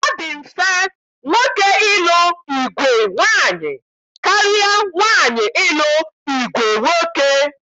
Ọ dị mfe nwoke ịlụ ìgwè nwaanyị karịa nwaanyị ịlụ ìgwè nwoke